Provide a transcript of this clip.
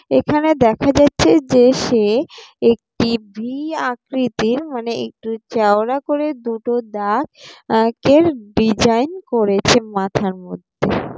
এখানে দেখা যাচ্ছে যে সে একটি ভি আকৃতির মানে একটু চাওড়া করে দুটো দাগ এর ডিজাইন করেছে মাথার মধ্যে ।